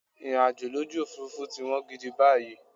Ìrìnàjò lójú Òfurufú ti wọ́n gidi báyìí.